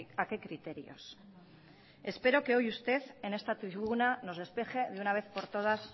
a qué criterios espero que hoy usted en esta tribuna nos despeje de una vez por todas